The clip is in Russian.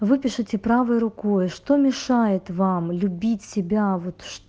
выпишите правой рукой что мешает вам любить себя вот что